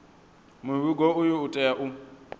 muvhigo uyu u tea u